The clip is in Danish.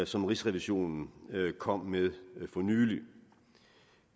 som rigsrevisionen kom med for nylig